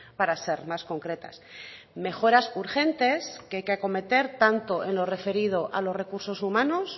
para ser más concretas mejoras urgentes que hay que acometer tanto en lo referido a los recursos humanos